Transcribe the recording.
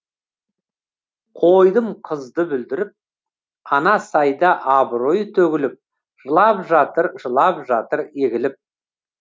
қойдым қызды бүлдіріп ана сайда абыройы төгіліп жылап жатыр жылап жатыр егіліп